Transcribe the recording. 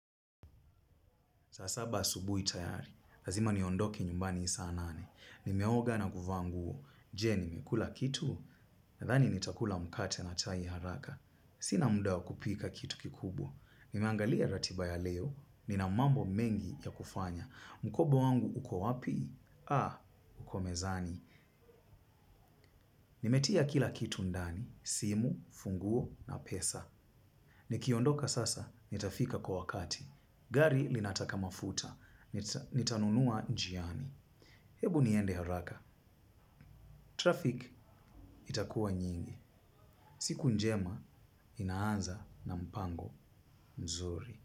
Zasaba asubuhi tayari, lazima niondoke nyumbani saa nane. Nimeoga naguva nguo, jee nimekula kitu, nathani nitakula mkate na chai haraka. Sina muda kupika kitu kikubwa. Nimeangalia ratiba ya leo, nina mambo mengi ya kufanya. Mkoba wangu ukowapi, uko mezani. Nimetia kila kitu ndani, simu, funguo na pesa. Nikiondoka sasa, nitafika kwa wakati. Gari linataka mafuta. Nitanunua njiani. Hebu niende haraka. Traffic itakuwa nyingi. Siku njema inaanza na mpango mzuri.